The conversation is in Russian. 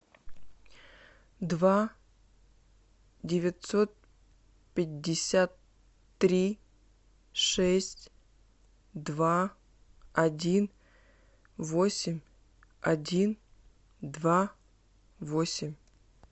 два девятьсот пятьдесят три шесть два один восемь один два восемь